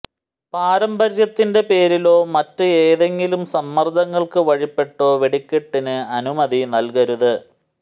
പാരമ്പര്യത്തിന്റെ പേരിലോ മറ്റ് ഏതെങ്കിലും സമ്മര്ദ്ദങ്ങള്ക്ക് വഴിപ്പെട്ടോ വെടിക്കെട്ടിന് അനുമതി നല്കരുത്